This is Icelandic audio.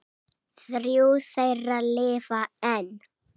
Þrjú þeirra lifa enn.